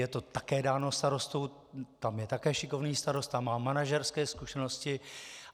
Je to také dáno starostou, tam je také šikovný starosta, má manažerské zkušenosti.